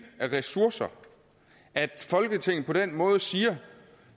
af ressourcer at folketinget på den måde siger